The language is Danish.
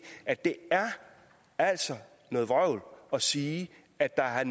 at det altså er noget vrøvl at sige at der er